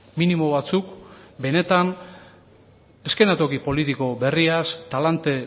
minimo batzuk benetan eszenatoki politiko berriaz talante